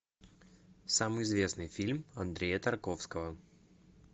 самый известный фильм андрея тарковского